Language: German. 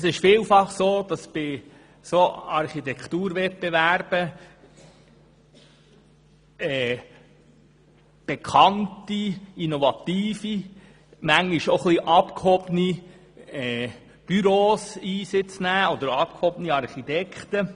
Es ist vielfach so, dass bei Architekturwettbewerben bekannte, innovative und manchmal auch ein bisschen abgehobene Büros oder Architekten tätig werden.